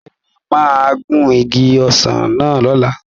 Bẹ́ẹ̀ni, mà á gun igi ọsàn náà lọ̀la